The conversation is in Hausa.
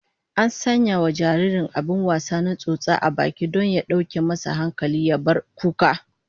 An sanya wa jaririn abin wasa na tsotsa a baki don ya dauke masa hankali ya bar kuka